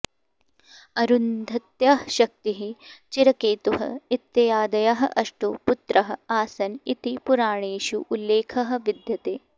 अरुन्धत्याः शक्तिः चिरकेतुः इत्यादयः अष्टौ पुत्राः आसन् इति पुराणेषु उल्लेखः विद्यते